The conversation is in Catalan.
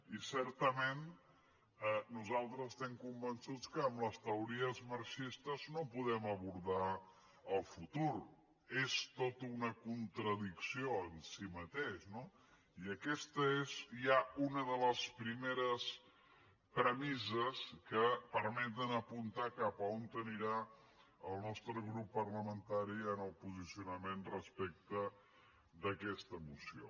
i certament nosaltres estem convençuts que amb les teories marxistes no podem abordar el futur és tota una contradicció en si mateix no i aquesta és ja una de les primeres premisses que per·meten apuntar cap a on anirà el nostre grup parlamen·tari en el posicionament respecte d’aquesta moció